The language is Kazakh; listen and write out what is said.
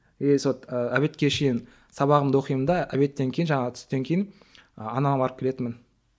и сол і обедке шейін сабағымды оқимын да обедтен кейін жаңағы түстен кейін ы анама барып келетінмін